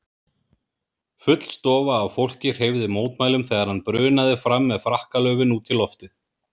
Full stofa af fólki hreyfði mótmælum þegar hann brunaði fram með frakkalöfin út í loftið.